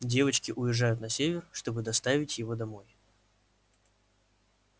девочки уезжают на север чтобы доставить его домой